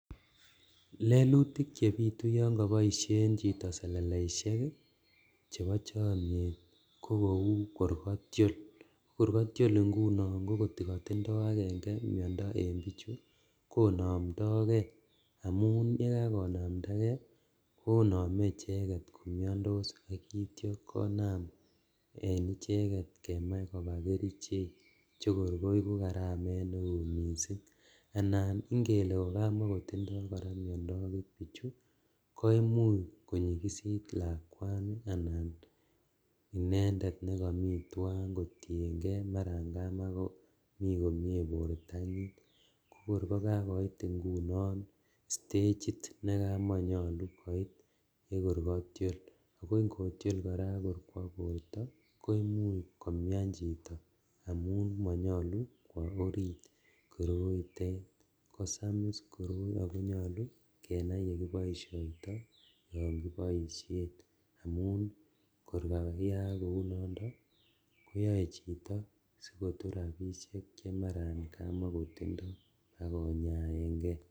Lelutik chebitu yon koboisien chito seleleisiek chebo chomnyet ko kou kor katiol. Kor katiol ingunon ko katindo agenge miondo en biichu konamndoke amun yekakonamndake koname icheget komiandos yekitya konam en icheget kemach koba kerichek chekor koigu karamet neo mising. Anan ingele kokamakotinye kora miondo agot biichu koimuch konyikisit lakwani anan inendet nekami tuan kotienge marakamakomi komie bortanyin. Kokor kokakoit ingunon stachit nekamanyalu koit nekor katiol. Ago ngotiol kora ak kwo borta koimuch komian chito amun manyalu kwo orit koroitet. Kosamis koroi ago nyalu kenai yekiboisioito yon kiboisien amun kor kayaak kou nondok konyae chito sikotur rapisiek chemara kamakotindo ak konyaen nge.